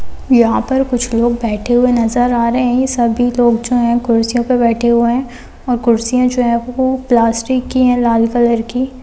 यहां पर कुछ लोग बैठे हुए नजर आ रहे हैं। सभी लोग जो हैं कुर्सियों पर बैठे हुए हैं। और कुर्सियां जो है वह प्लास्टिक की है लाल कलर की।